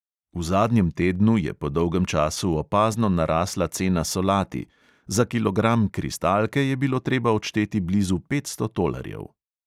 V zadnjem tednu je po dolgem času opazno narasla cena solati; za kilogram kristalke je bilo treba odšteti blizu petsto tolarjev.